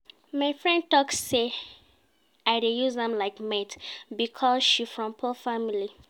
My friend tok sey I dey use am like maid because she from poor family.